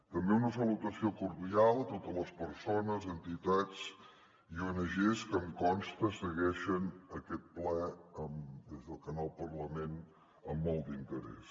també una salutació cordial a totes les persones entitats i ongs que em consta segueixen aquest ple des del canal parlament amb molt d’interès